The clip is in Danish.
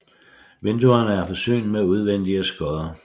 Vinduerne er forsynet med udvendige skodder